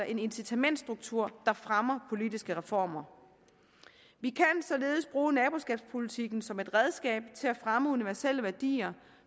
en incitamentsstruktur der fremmer politiske reformer vi kan således bruge naboskabspolitikken som et redskab til at fremme universelle værdier